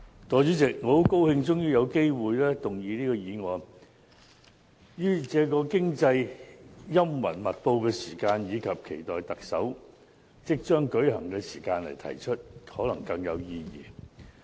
代理主席，我很高興終於有機會動議這項議案，於這個經濟陰雲密布的時期，以及期待特首選舉即將舉行的時間來提出，可能更有意義。